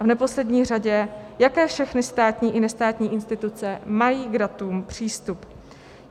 A v neposlední řadě, jaké všechny státní i nestátní instituce mají k datům přístup.